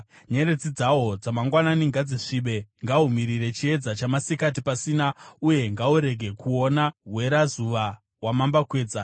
Nyeredzi dzahwo dzamangwanani ngadzisvibe; ngahumirire chiedza chamasikati pasina uye ngahurege kuona hwerazuva hwamambakwedza;